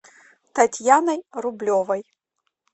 татьяной рублевой